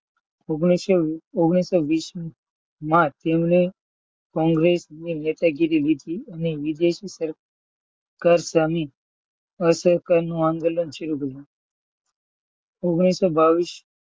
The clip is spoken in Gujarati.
ઓગણીસો ઓગણીસો વીસ માં તેમણે કોંગ્રેસની નેતાગીરી લીધી અને વિદેશી કર સામે અસહકારનું આંદોલન શરૂ કર્યું. ઓગણીસો બાવીસ